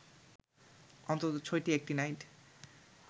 অন্তত ছয়টি অ্যাক্টিনাইড